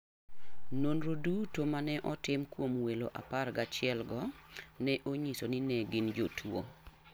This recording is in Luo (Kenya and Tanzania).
Nonro duto ma ne otim kuom welo apar gachielgo ne onyiso ni ne gin jotuwo.